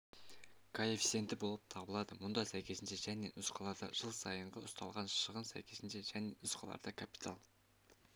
коэффициенті болып табылады мұнда сәйкесінше және нұсқаларда жыл сайынғы ұсталған шығын сәйкесінше және нұсқаларда капитал